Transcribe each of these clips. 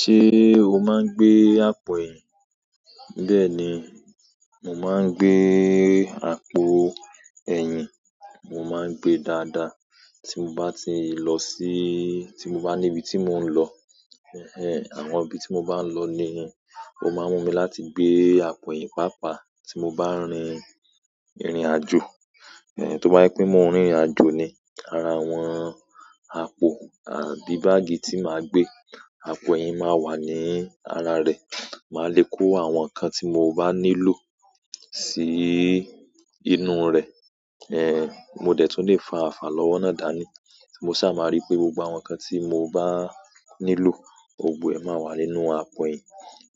Se o maa n gbe apoyin. Bẹ́ẹ̀ ni, mo máa ń gbé àpò ẹyin. Mo máa ń gbe dáadáa. Tí mo bá ti lọ sí-- tí mo bá níbi tí mò ń lọ, àwọn ibi tí mo bá ń lọ ni, ó máa ń mú mi láti gbé àpò ẹyin pàápàá. Tí mo bá rin ìrìn àjò, tó bá pẹ́ mó ń rìnrìn àjò ni ara àwọn àpò, bí báàgì tí màá gbé, àpò ẹyin máa wà ní ara rẹ̀. Màá le kó àwọn nǹkan tí mo bá nílò sí inú rẹ̀. Mo dẹ̀ tún lè fa àfààlọ́wo dà ni. Mo sá máa rí pé gbogbo àwọn nǹkan tí mo bá nílò, gbogbo ẹ̀ máa wà nínú àpò ẹyin.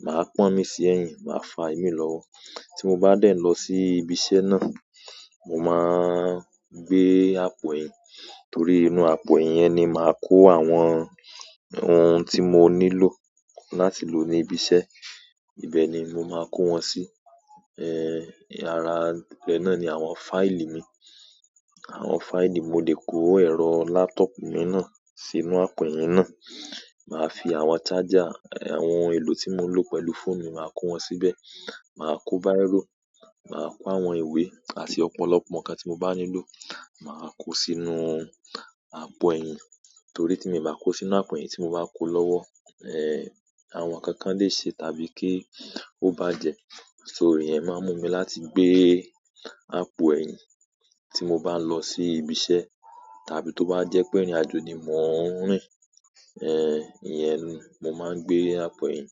Màá pọ́n mi sí ẹ̀yìn, màá fa ìmi lọ́wọ́. Tí mo bá dẹ̀ lọ sí ibi iṣẹ́ náà, mo máa ń gbé àpò ẹyin. Torí inú àpò ẹyin yẹn ni màá kó àwọn ohun tí mo nílò láti lò ní ibi iṣẹ́. Ibẹ̀ ni mo máa kó wọn sí. Ara re náà ni àwọn fáìlì mi. Àwọn fáìlì, mo lè kó ẹ̀rọ laptop mi náà sínú àpò ẹyin náà. Màá fi àwọn charger, àwọn èlò tí mo lò pẹ̀lú fóònù mi, màá kó wọn síbẹ̀. Màá kó bírò, màá kó àwọn ìwé àti ọ̀pọ̀lọpọ̀ nǹkan tí mo bá nílò, màá kó sínú àpò ẹyin. Torí tí mi bá kó sínú àpò ẹyin, tí mo bá kó lọ́wọ́, àwọn nǹkan lè ṣe tàbí kí ó bá jẹ. So iyen ẹ̀ máa ń mú mi láti gbé àpò eyin tí mo bá ń lọ sí ibi iṣẹ́, tàbí tó bá jẹ́ pé irin ajo ni mò ń rìn. Ìyẹn ni mo máa ń gbe àpò ẹyin.